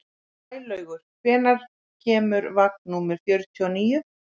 Sælaugur, hvenær kemur vagn númer fjörutíu og níu?